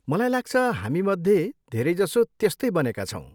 मलाई लाग्छ, हामीमध्ये धेरैजसो त्यस्तै बनेका छौँ।